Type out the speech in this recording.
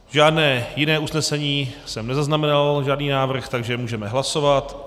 Žádné jiné usnesení jsem nezaznamenal, žádný návrh, takže můžeme hlasovat.